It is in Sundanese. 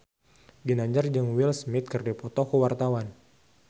Ginanjar jeung Will Smith keur dipoto ku wartawan